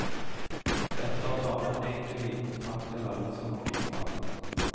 Dette er bare en enkel liten takk til alle som har bidratt.